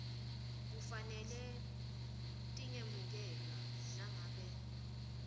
kufanele tingemukelwa nangabe